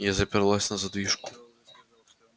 я заперлась на задвижку